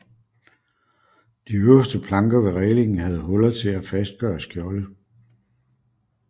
De øverste planker ved rælingen havde huller til at fastgøre skjolde